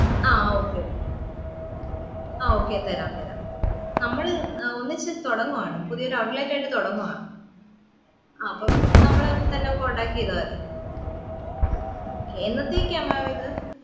ആ okay ആ ആ okay തരാം താരം നമ്മള് ഒന്നിച് തൊടങ്ങുവാണ് പുതിയൊരു outlet ആയിട്ട് തൊടങ്ങുആ ആ അപ്പൊ നമ്മളെ തന്നെ contact ചെയിതാമതി okay എന്നത്തേക്ക mam ഇത്